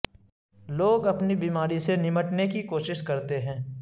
لوگ اپنی بیماری سے نمٹنے کی کوشش کرتے ہیں